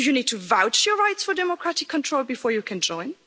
Do you need to vouch your rights for democratic control before you can join?